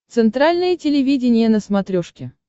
центральное телевидение на смотрешке